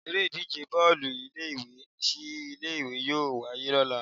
Eré ìdíje Bọ́ọ̀lù ilé ìwé sí ilé ìwé yóò wáyé lọ́la.